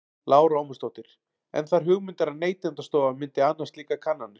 Lára Ómarsdóttir: En þær hugmyndir að Neytendastofa myndi annast slíkar kannanir?